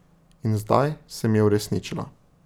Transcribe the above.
In zdaj se mi je uresničilo.